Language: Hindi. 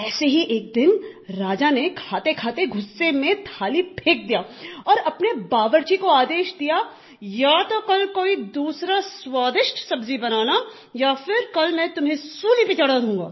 ऐसे ही एक दिन राजा ने खाते खाते गुस्से में थाली फ़ेंक दिया और अपने बावर्ची को आदेश दिया या तो कल कोई दूसरी स्वादिष्ट सब्ज़ी बनाना या फिर कल मैं तुम्हें सूली पे चढ़ा दूंगा